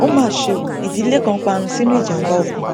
ó mà ṣe ọ ìdílé kan parun sínú ìjàmbá ọkọ